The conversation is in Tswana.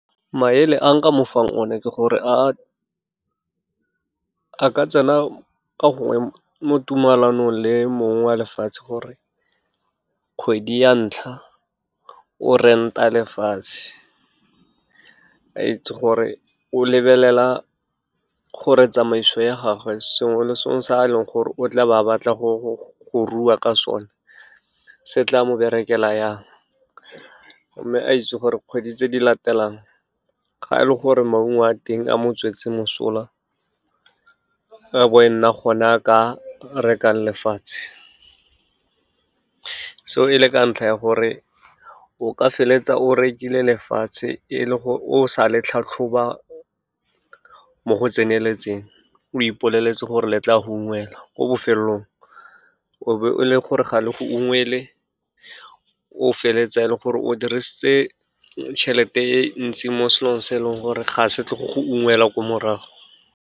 Maele a nka mo fang one ke gore a ka tsena ka gongwe mo tumalanong le mong wa lefatshe, gore kgwedi ya ntlha o rent-a lefatshe, a itse gore o lebelela gore tsamaiso ya gagwe sengwe le sengwe sa a leng gore o tla ba batla go rua ka sone, se tla mo berekela jang, mme a itse gore kgwedi tse di latelang ga e le gore maungo a teng a mo tswetse mosola, ka bo e nna gona a ka rekang lefatshe. Seo e le ka ntlha ya gore, o ka feleletsa o rekile lefatshe e le gore o sa le tlhatlhoba mo go tseneletseng, o ipoleletse gore letla a go ungwela, ko bofelelong o be o le gore ga le go ungwelwe, o feleletsa e le gore o dirisitse tšhelete e ntsi mo selong se e leng gore ga se tlo go go ungwela ko morago.